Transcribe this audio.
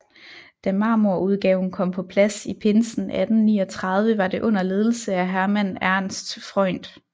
Da marmorudgaven kom på plads i pinsen 1839 var det under ledelse af Hermann Ernst Freund